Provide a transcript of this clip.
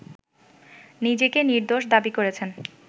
নিজেকে নির্দোষ দাবী করেছেন